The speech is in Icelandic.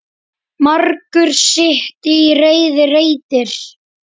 Margur sitt í reiði reytir.